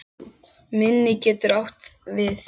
Minni getur átt við